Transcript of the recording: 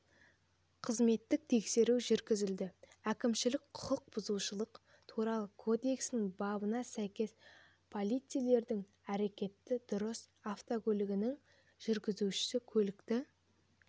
қызметтік тексеру жүргізілді әкімшілік құқық бұзушылық туралы кодексінің бабына сәйкес полицейлердің әрекеті дұрыс автокөлігінің жүргізушісі көлікті